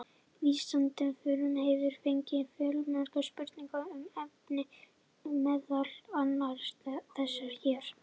Vísindavefurinn hefur fengið fjölmargar spurningar um efnið, meðal annars þessar hér: